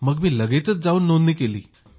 मग मी लगेचच जाऊन नोंदणी केली